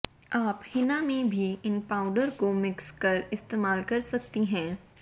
आप हिना में भी इन पाउडर को मिक्स कर इस्तेमाल कर सकती हैं